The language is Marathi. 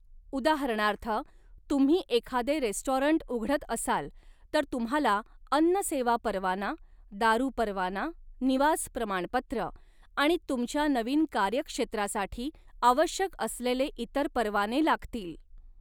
उदाहरणार्थ, तुम्ही एखादे रेस्टॉरंट उघडत असाल तर तुम्हाला अन्न सेवा परवाना, दारू परवाना, निवास प्रमाणपत्र आणि तुमच्या नवीन कार्यक्षेत्रासाठी आवश्यक असलेले इतर परवाने लागतील.